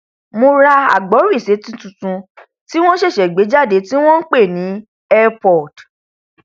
mo ra agbórisétí tuntun tí wọn ṣẹṣẹ gbé jáde tí wọn npè ní earpod